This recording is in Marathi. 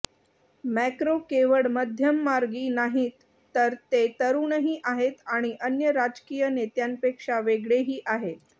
मॅक्रॉ केवळ मध्यममार्गी नाहीत तर ते तरूणही आहेत आणि अन्य राजकीय नेत्यांपेक्षा वेगळेही आहेत